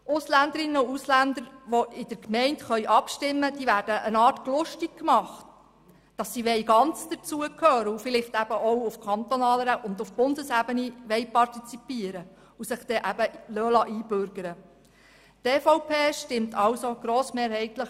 Ausländerinnen und Ausländer, die in den Gemeinden abstimmen können, werden gewissermassen «gluschtig gmacht», sodass sie ganz dazugehören, vielleicht eben auch auf kantonaler und Bundesebene partizipieren und sich deswegen dann einbürgern lassen wollen.